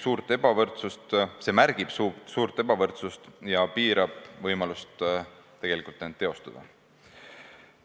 See märgib suurt ebavõrdsust ja piirab võimalust end tegelikult teostada.